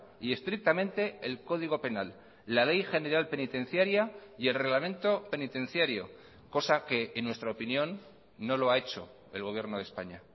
y estrictamente el código penal la ley general penitenciaria y el reglamento penitenciario cosa que en nuestra opinión no lo ha hecho el gobierno de españa